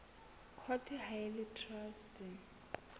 court ha e le traste